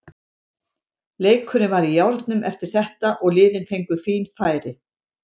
Leikurinn var í járnum eftir þetta og liðin fengu fín færi.